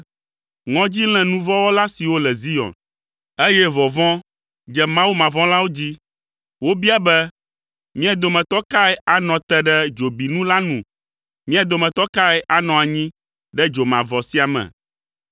Ŋɔdzi lé nu vɔ̃ wɔla siwo le Zion, eye vɔvɔ̃ dze Mawumavɔ̃lawo dzi, wobia be, “Mía dometɔ kae anɔ te ɖe dzobinu la nu? Mía dometɔ kae anɔ anyi ɖe dzo mavɔ̃ sia me.”